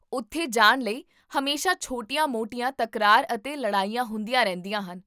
ਉੱਥੇ ਜਾਣ ਲਈ ਹਮੇਸ਼ਾ ਛੋਟੀਆਂ ਮੋਟੀਆਂ ਤਕਰਾਰ ਅਤੇ ਲੜਾਈਆਂ ਹੁੰਦੀਆਂ ਰਹਿੰਦੀਆਂ ਹਨ